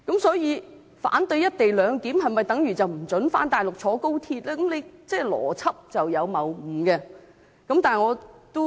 所以，如果反對"一地兩檢"的人不獲准返大陸及乘搭高鐵，邏輯上便有謬誤了。